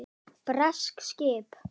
Bresk skip!